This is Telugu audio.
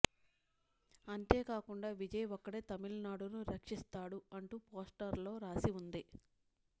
అంతేకాకుండా విజయ్ ఒక్కడే తమిళనాడును రక్షిస్తాడు అంటూ పోస్టర్లలో రాసి ఉంది